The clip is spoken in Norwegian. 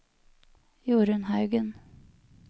Jorunn Haugen